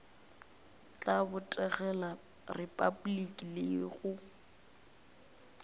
tla botegela repabliki le go